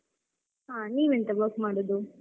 ಹಾ. ನೀವ್ ಎಂತ work ಮಾಡುದು?